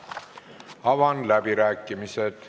Avan läbirääkimised.